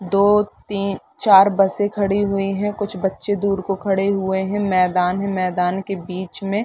दो तीन चार बसें खड़ी हुईं हैं कुछ बच्चे दूर को खड़े हुए है मैदान है मैदान की बीच में।